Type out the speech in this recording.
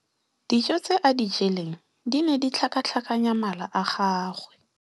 Dijô tse a di jeleng di ne di tlhakatlhakanya mala a gagwe.